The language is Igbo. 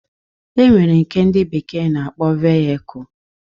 E nwere nke ndị bekee na-akpọ vayekul